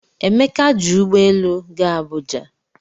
Emeka ji ụgbọ elu gaa Abuja